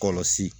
Kɔlɔsi